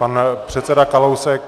Pan předseda Kalousek.